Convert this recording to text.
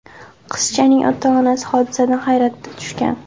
Qizchaning ota-onasi hodisadan hayratga tushgan.